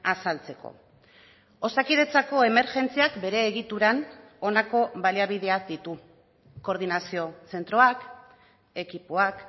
azaltzeko osakidetzako emergentziak bere egituran honako baliabideak ditu koordinazio zentroak ekipoak